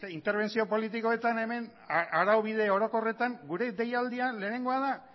interbentzio politikoetan hemen araubide orokorretan gure deialdian lehenengoa da